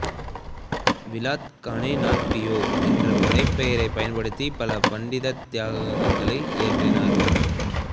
விலாத் கானே நாத் பியா என்ற புனைப் பெயரைப் பயன்படுத்தி பல பான்டித்தியங்களை இயற்றினார்